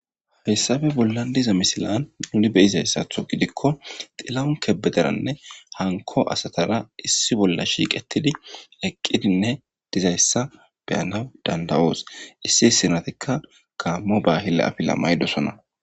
hessabe bolla diza misilaan nuni be izayssatho gidikko xilaun kebederanne hanko asatara issi bolla shiiqettidi eqqidinne dizayssa beyanaw dandawoos issi sinatikka kaammo baahila afila maydosona